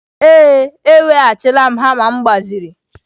Ee, eweghachila m hama m gbaziri.